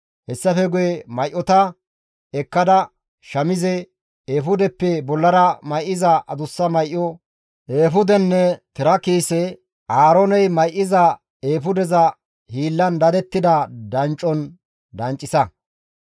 Hessafe guye may7ota ekkada, shamize, eefudeppe bollara may7iza adussa may7o, eefudenne tira kiise Aaroone mayzada eefudeza hiillan dadettida danccon danccisa.